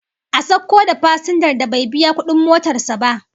A sauko da fasinjar da bai biya kudin motar sa ba